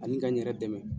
Ani ka n yɛrɛ dɛmɛ